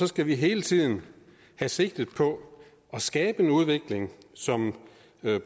skal vi hele tiden have sigte på at skabe en udvikling som